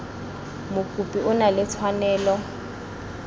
mokopi o na le tshwanelo